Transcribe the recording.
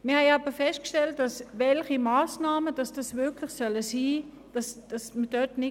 Wir haben festgestellt, dass es nicht ganz klar ist, welche Massnahmen dies sein sollen.